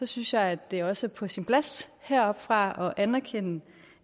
synes jeg at det også er på sin plads heroppefra at anerkende